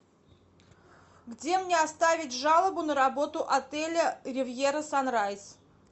где мне оставить жалобу на работу отеля ривьера санрайз